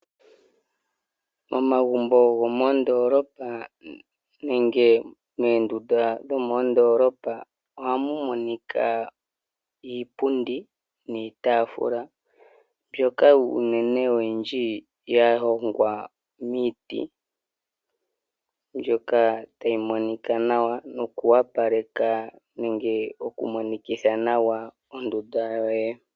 Momagumbo gomoodoolopa nenge moondunda dhomoodolopa ohamu monika iipundi niitafula mbyoka unene ya hongwa miiti mbyoka tayi monika nawa noku opaleka ondunda yoye.